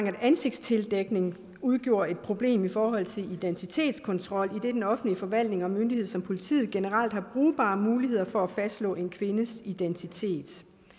at ansigtstildækning udgjorde et problem i forhold til identitetskontrol idet den offentlige forvaltning og en myndighed som politiet generelt har brugbare muligheder for at fastslå en kvindes identitet